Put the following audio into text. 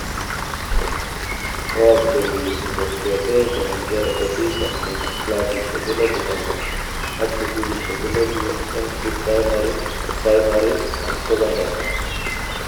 Ooksei niit ngot keteech anan kerekebishan nekit clasishek elebu konom ak sukulishek elebut eng Pre-primary, Primary ak sekondary